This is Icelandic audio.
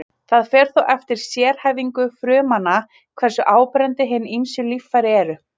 það fer þó eftir sérhæfingu frumnanna hversu áberandi hin ýmsu líffæri eru